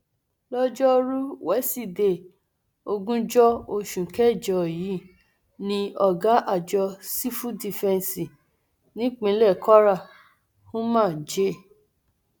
lọjọrùú wíṣídẹẹ ogúnjọ oṣù kẹjọ yìí ni ọgá àjọ sífù dìfẹǹsì nípínlẹ kwara umar j